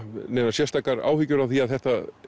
sérstakar áhyggjur af því að þetta